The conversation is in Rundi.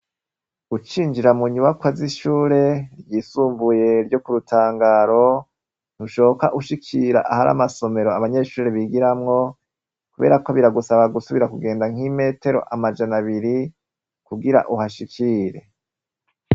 Ucinjira mu nyubakwa z'ishure ryisumbuye ryo ku Rutangaro, ntushoka ushikira ahari amasomero abanyeshure bigiramwo. Kubera ko biragusaba gusubira kugenda nk'imetero amajana abiri kugira uhashikire.